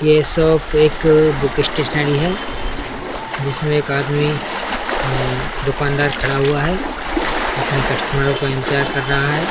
ये सब एक बुक स्टेशनरी है। जिसमे एक आदमी अम दुकान दार खड़ा हुआ है। अपनी कस्टमरो का इंतज़ार कर रहा है।